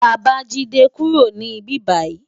Babajide kúró ni bibáyi